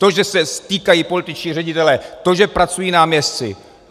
To, že se stýkají političtí ředitelé, to, že pracují náměstci.